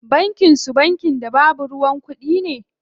Bankin su bankin da babu ruwan kuɗi?